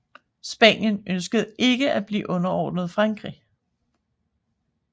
Spanien ønskede ikke at blive underordnet Frankrig